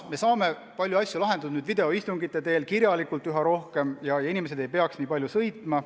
Me saame palju asju lahendatud nüüd videoistungite teel ja ka kirjalikult üha rohkem, inimesed ei pea nii palju kohale sõitma.